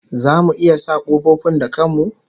Zamu iya sa kofofin da kan mu?